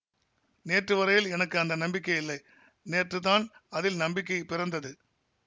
நேற்று வரையில் எனக்கு அந்த நம்பிக்கை இல்லை நேற்று தான் அதில் நம்பிக்கை பிறந்தது